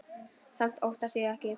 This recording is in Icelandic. Samt óttast ég ekki.